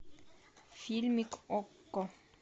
фильмик окко